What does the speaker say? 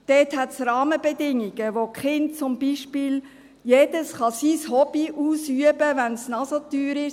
Dort gibt es Rahmenbedingungen, durch die jedes Kind beispielsweise sein Hobby ausüben kann, wenn es noch so teuer ist.